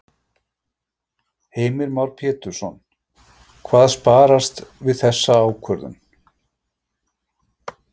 Heimir Már Pétursson: Hvað sparast við þessa ákvörðun?